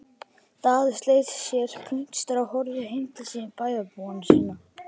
Daði sleit sér puntstrá og horfði heim til bæjarhúsanna.